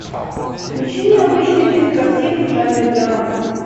включи необычную кинокартину в жанре драма